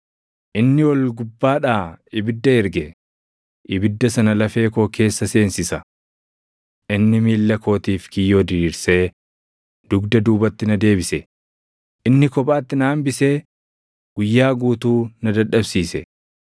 “Inni ol gubbaadhaa ibidda erge; ibidda sana lafee koo keessa seensisa. Inni miilla kootiif kiyyoo diriirsee dugda duubatti na deebise; inni kophaatti na hambisee guyyaa guutuu na dadhabsiise.